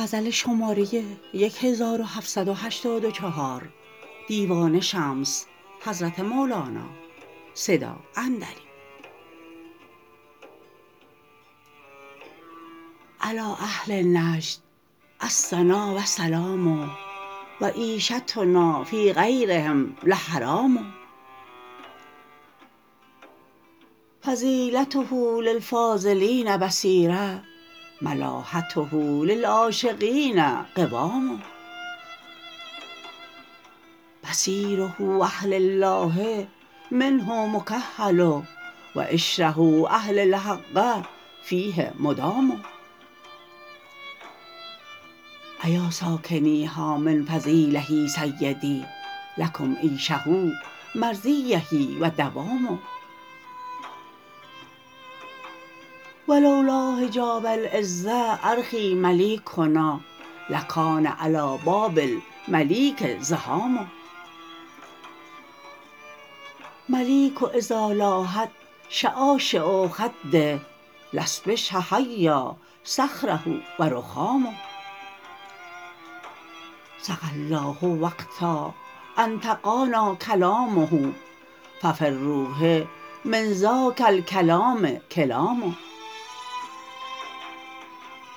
علی اهل نجد الثنا و سلام و عیشتنا فی غیرهم لحرام فضیلته للفاضلین بصیره ملاحته للعاشقین قوام بصیره اهل الله منه مکحل و عشره اهل الحق فیه مدام ایا ساکنیها من فضیله سیدی لکم عیشه مرضیه و دوام و لو لا حجاب العز ارخی ملیکنا لکان علی باب الملیک زحام ملیک اذا لاحت شعاشع خده لا صبح حیا صخره و رخام سقی الله وقتا انطقانا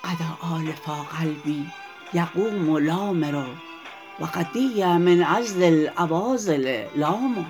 کلامه ففی الروح من ذاک الکلام کلام غدا آلفا قلبی یقوم لامره وقدی من عذل العواذل لام